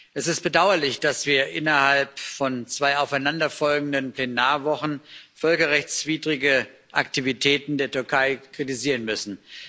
Es ist bedauerlich, dass wir innerhalb von zwei aufeinanderfolgenden Plenarwochen völkerrechtswidrige Aktivitäten der Türkei kritisieren müssen.